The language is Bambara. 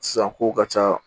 Sisan kow ka ca